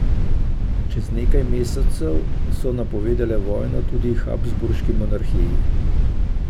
Čez nekaj mesecev so napovedale vojno tudi Habsburški monarhiji.